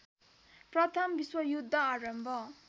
प्रथम विश्वयुद्ध आरम्भ